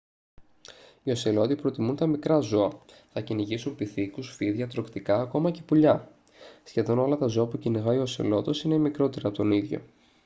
οι οσελότοι προτιμούν τα μικρά ζώα θα κυνηγήσουν πιθήκους φίδια τρωκτικά ακόμα και πουλιά σχεδόν όλα τα ζώα που κυνηγάει ο οσελότος είναι μικρότερα από τον ίδιο